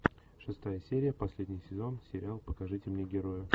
шестая серия последний сезон сериал покажите мне героя